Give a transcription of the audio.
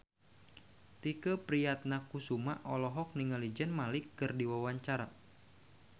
Tike Priatnakusuma olohok ningali Zayn Malik keur diwawancara